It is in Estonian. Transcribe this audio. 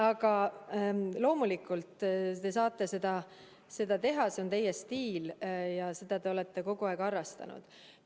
Aga loomulikult, te saate seda teha, see on teie stiil ja seda te olete kogu aeg harrastanud.